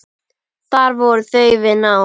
Þar voru þau við nám.